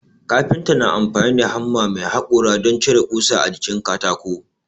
Kafinta na amfani da hamma mai haƙora don cire ƙusa a jikin katako